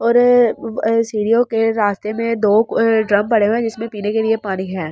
और अह सीढ़ियों के रास्ते में दो अह ड्रम पड़े हुए हैं जिसमें पीने के लिए पानी है।